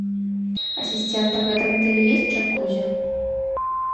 ассистент а в этом отеле есть джакузи